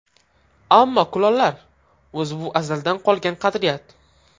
Ammo kulollar... O‘zi bu azaldan qolgan qadriyat.